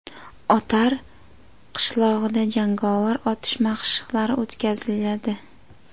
Otar qishlog‘ida jangovar otish mashqlari o‘tkaziladi.